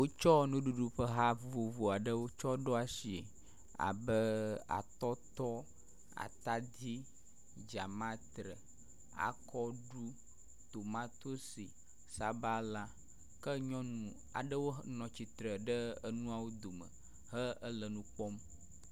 Wotsɔ nuɖuɖu ƒe ha vovovo aɖewo tsɔ ɖo asie abe; atɔtɔ, atadi, dzamatre, akɔɖu, tomatosi, sabala ke nyɔnu aɖewo hɔ nɔ tsitre ɖe enuawo dome he enu kpɔm.